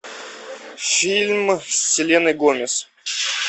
фильм с селеной гомес